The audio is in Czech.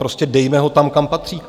Prostě dejme ho tam, kam patří.